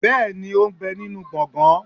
bẹẹni ó n bẹ ninú gbọgan